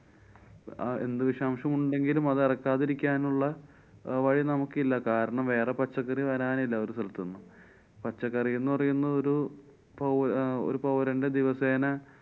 ആ എന്തു വിഷാംശം ഉണ്ടെങ്കിലും അതെറക്കാതെ ഇരിക്കാനുള്ള വഴിനമുക്കില്ല. കാരണം വേറെ പച്ചക്കറി വരാനില്ല ഒരു സ്ഥലത്തുന്നും. പച്ചക്കറിന്നു പറയുന്നൊരു പൌ~ അഹ് ഒരു പൌരന്‍ടെ ദിവസേന